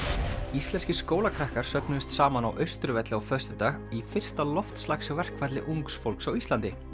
íslenskir skólakrakkar söfnuðust saman á Austurvelli á föstudag í fyrsta ungs fólks á Íslandi